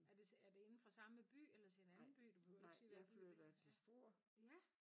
Er det er det indenfor samme by eller til en anden by du behøver ikke sige hvad for en det er